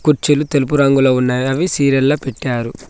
కుర్చీలు తెలుపు రంగులో ఉన్నాయి అవి సీరియల్ లో పెట్టారు.